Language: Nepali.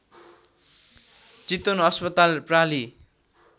चितवन अस्पताल प्रालि